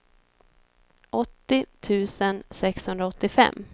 åttio tusen sexhundraåttiofem